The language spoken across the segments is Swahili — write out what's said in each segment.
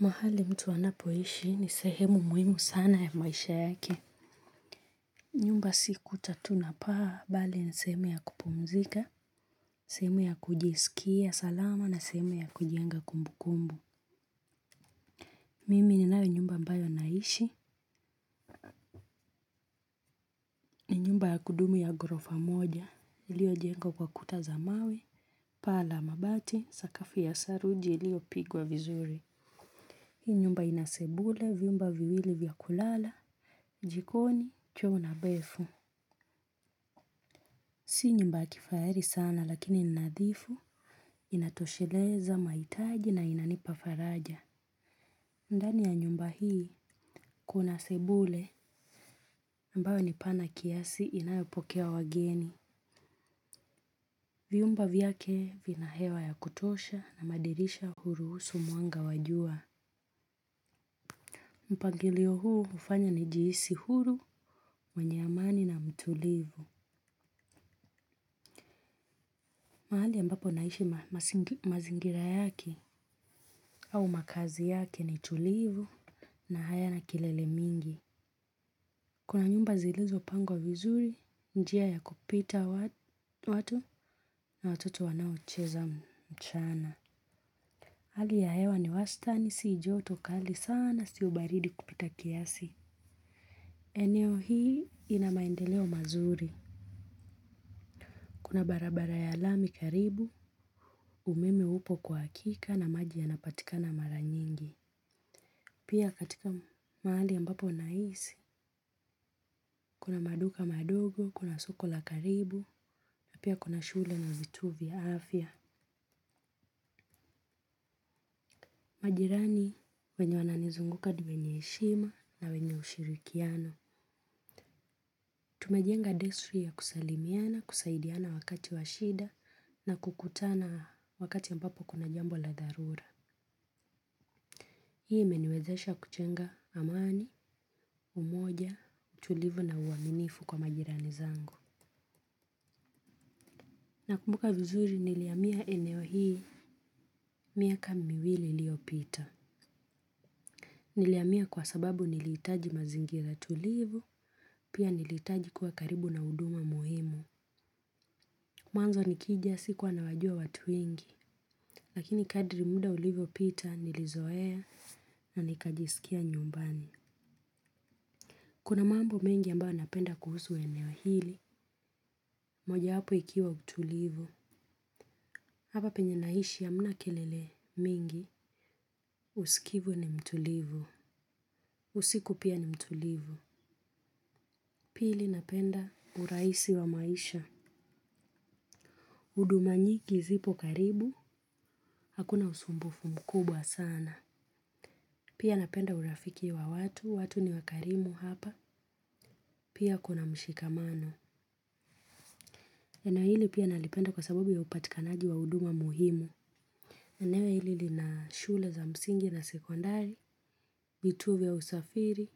Mahali mtu anapoishi ni sehemu muhimu sana ya maisha yake. Nyumba si kuta tu na paa, mbali ni sehemu ya kupumzika, sehemu ya kujisikia salama na sehemu ya kujenga kumbukumbu. Mimi ninayo nyumba mbayo naishi, ni nyumba ya kudumu ya ghorofa moja, iliyojengwa kwa kuta za mawe, paa la mabati, sakafu ya saruji iliyopigwa vizuri. Hii nyumba inasebule, vyumba viwili vya kulala, jikoni, choo na bafu. Sio nyumba ya kifahari sana lakini ninadhifu inatosheleza mahitaji na inanipafaraja. Ndani ya nyumba hii kuna sebule ambayo ni pana kiasi inayopokea wageni. Vyumba vyake vinahewa ya kutosha na madirisha hurusu mwanga wa jua. Mpangilio huu hufanya ni jihisi huru mwenye amani na mtulivu. Mahali ambapo naishi mazingira yake au makazi yake ni tulivu na hayana kilele mingi. Kuna nyumba zilizopangwa vizuri, njia ya kupita watu na watoto wanaocheza mchana. Hali ya hewa ni wasitani siojotokali sana siobaridi kupita kiasi. Eneo hii inamaendeleo mazuri. Kuna barabara ya lami karibu, umeme upo kwa hakika na maji yanapatikana mara nyingi. Pia katika mahali ambapo naishi, kuna maduka madogo, kuna soko la karibu, na pia kuna shule na vituo vya afya. Majirani wenye wananizunguka niwenye heshima na wenye ushirikiano. Tumejenga desturi ya kusalimiana, kusaidiana wakati washida na kukutana wakati ambapo kuna jambo la dharura. Hii imeniwezesha kujenga amani, umoja, utulivu na uaminifu kwa majirani zangu. Nakumbuka vizuri nilihamia eneo hii miaka miwili iliopita. Nilihamia kwa sababu nilihitaji mazingira tulivu, pia nilihitaji kuwa karibu na huduma muhimu. Mwanzo nikija sikuwa nawajua watu wengi, lakini kadri muda ulivyopita nilizoea na nikajisikia nyumbani. Kuna mambo mengi ambayo napenda kuhusu eneo hili, mojawapo ikiwa utulivu. Hapa penye naishi hamna kelele mingi, usikivu ni mtulivu. Usiku pia ni mtulivu. Pili napenda urahisi wa maisha. Huduma nyingi zipo karibu. Hakuna usumbufu mkubwa sana. Pia napenda urafiki wa watu. Watu ni wakarimu hapa. Pia kuna mshikamano. Eneo hili pia nalipenda kwasababu ya upatikanaji wa huduma muhimu. Eneo hili lina shule za msingi na sekondari. Vituo vya usafiri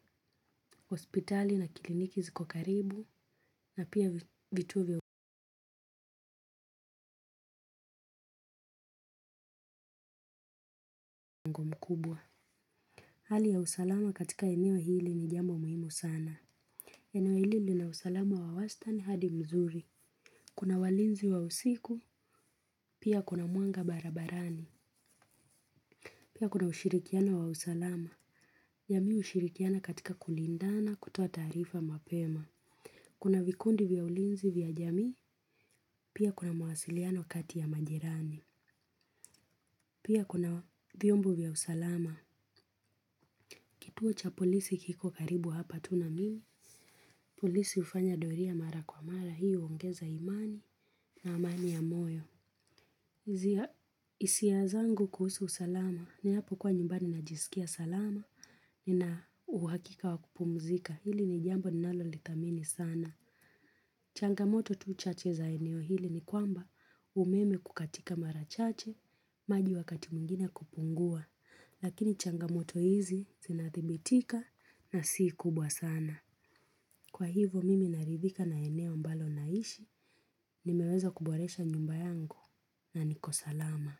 hospitali na kliniki ziko karibu na pia vituo vya mkubwa hali ya usalama katika eneo hili ni jambo muhimu sana. Eneo hili lina usalama wa wastani hadi mzuri. Kuna walinzi wa usiku, pia kuna mwanga barabarani. Pia kuna ushirikiano wa usalama. Jamii hushirikiana katika kulindana kutoa taarifa mapema. Kuna vikundi vya ulinzi vya jamii, pia kuna mawasiliano kati ya majirani. Pia kuna vyombo vya usalama. Kituo cha polisi kiko karibu hapa tu na mimi. Polisi hufanya doria mara kwa mara hii huongeza imani na amani ya moyo. Hisia zangu kuhusu usalama ninapokuwa nyumbani najisikia salama nina uhakika wa kupumzika. Hili ni jambo ninalo lithamini sana. Changamoto tu chache za eneo hili ni kwamba umeme kukatika mara chache maji wakati mwingine kupungua. Lakini changamoto hizi zinathibitika na si kubwa sana. Kwahivyo mimi naridhika na eneo ambalo naishi, nimeweza kuboresha nyumba yangu na niko salama.